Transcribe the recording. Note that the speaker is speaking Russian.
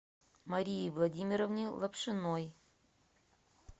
марии владимировне лапшиной